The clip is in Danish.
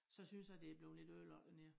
Så synes jeg det blevet lidt ødelagt dernede